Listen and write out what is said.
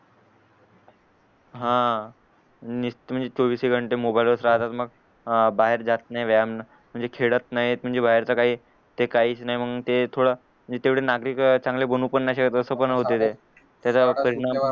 हा मोबाईल वरच राहतात मग बाहेर जात नाई व्यायाम म्हणजे खेडत नाहीत म्हणजे बाहेरच काही काहीच नाय मंग ते थोडं नागरिक अह चांगले बानू पण नी शकत अस पण होत ते त्याचा परिणाम